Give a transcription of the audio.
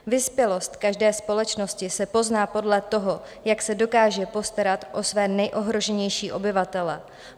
Vyspělost každé společnosti se pozná podle toho, jak se dokáže postarat o své nejohroženější obyvatele.